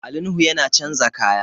Ali Nuhu yana chanza kaya